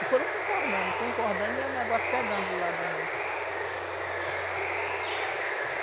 E foram concordando, concordando e o negócio pegando do lado da gente.